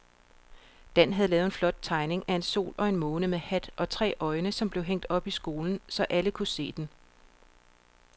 Dan havde lavet en flot tegning af en sol og en måne med hat og tre øjne, som blev hængt op i skolen, så alle kunne se den.